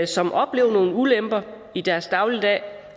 som oplever nogle ulemper i deres dagligdag